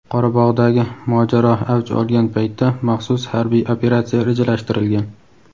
Qorabog‘dagi mojaro avj olgan paytda maxsus harbiy operatsiya rejalashtirilgan.